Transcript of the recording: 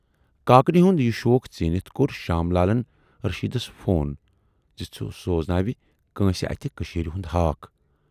کاکنہِ ہُند یہِ شوق ژیٖنِتھ کور شام لالن رشیٖدس فون زِ سُہ سوزناوِ کٲنسہِ اتھِ کٔشیٖرِ ہُند ہاکھ۔